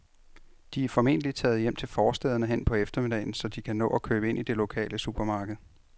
De er formentlig taget hjem til forstæderne hen på eftermiddagen, så de kan nå at købe ind i det lokale supermarked.